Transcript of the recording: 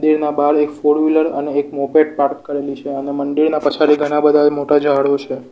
જેના બાર એક ફોરવીલર અને એક મોપેડ પાર્ક કરેલી છે અને મંદિરના પછાડી ઘણા બધા મોટા ઝાડો છે.